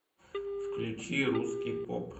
включи русский поп